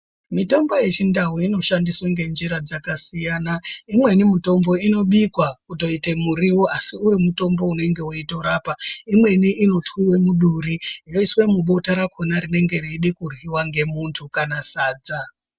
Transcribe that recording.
Mitombo yechindau inoshandiswa ngenzira dzakasiyana, imweni mitombo inobikwa kutoite muriwo asi uri mutombo unenge weitorapa. Imweni inotwiwa muduri yoiswe mubota rakhona rinenge reide kuryiwa ngemuntu kana sadza.